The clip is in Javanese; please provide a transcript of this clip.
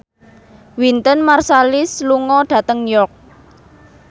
Wynton Marsalis lunga dhateng York